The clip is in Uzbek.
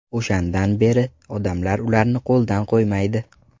O‘shandan beri odamlar ularni qo‘ldan qo‘ymaydi.